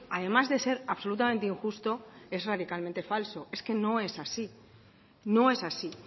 además de ser absolutamente injusto es radicalmente falso es que no es así no es así